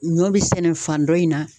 Ɲɔ be sɛnɛ fan dɔ in na